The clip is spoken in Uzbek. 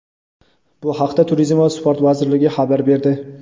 bu haqda Turizm va sport vazirligi xabar berdi.